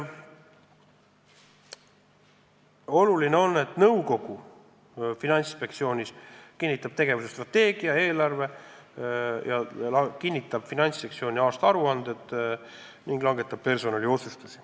Oluline on, et Finantsinspektsiooni nõukogu kinnitab tegevuse strateegia, eelarve ja Finantsinspektsiooni aastaaruanded ning langetab ka personali puutuvaid otsuseid.